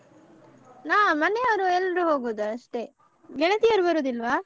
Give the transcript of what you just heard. ನಾವ್ ಮನೆಯವ್ರು ಎಲ್ರು ಹೋಗೋದು ಅಷ್ಟೆ ಗೆಳತಿಯರು ಬರುದಿಲ್ವಾ?